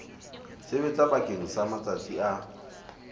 sebetsa bakeng sa matsatsi a